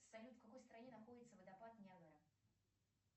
салют в какой стране находится водопад ниагара